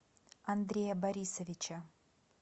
андрея борисовича